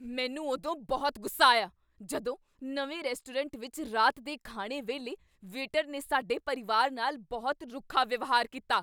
ਮੈਨੂੰ ਉਦੋਂ ਬਹੁਤ ਗੁੱਸਾ ਆਇਆ ਜਦੋਂ ਨਵੇਂ ਰੈਸਟੋਰੈਂਟ ਵਿੱਚ ਰਾਤ ਦੇ ਖਾਣੇ ਵੇਲੇ ਵੇਟਰ ਨੇ ਸਾਡੇ ਪਰਿਵਾਰ ਨਾਲ ਬਹੁਤ ਰੁੱਖਾ ਵਿਵਹਾਰ ਕੀਤਾ ।